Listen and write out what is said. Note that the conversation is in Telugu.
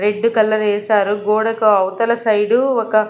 రెడ్ కలర్ వేశారు గోడకు అవతల సైడ్ ఒక.